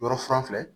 Yɔrɔ fura filɛ